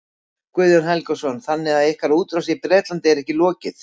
Guðjón Helgason: Þannig að ykkar útrás í Bretlandi er ekki lokið?